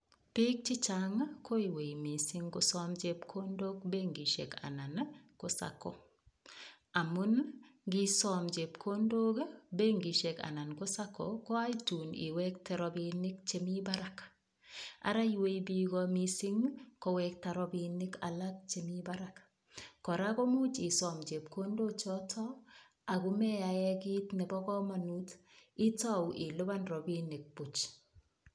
Biik chichang' koiwei mising' kosom chepkondok benkishek anan ko Sacco amun ngisom chepkondok benkishek anan ko Sacco ko akoi tukun iwekte robinik chemi barak ara iwei biko mising' kowekta robinik alak chemi barak kora komuuch isom chepkondo choto akomeyae kiit nebo komonut itou ilipan robinik Puch